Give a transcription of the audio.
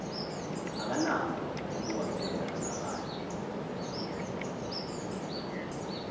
akanako ukubafela abanye